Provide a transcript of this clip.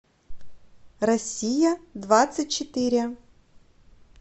россия двадцать четыре